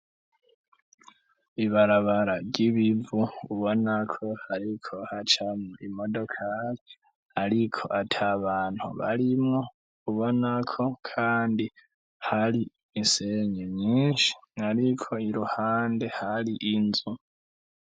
Ibarabara ry'ibivu ubonako, ariko hacamwo imodokake, ariko atia bantu barimwo ubonako, kandi hari insenyu nyinshi, ariko iruhande hari inzu.